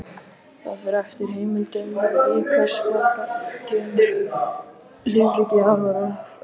Það fer eftir heimildum í hversu margar tegundir lífríki jarðar er flokkað.